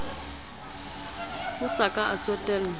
a sa ka a tsotellwa